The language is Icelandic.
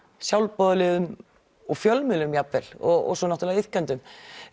sjálfboðaliðum og fjölmiðlum jafnvel og svo náttúrulega iðkendum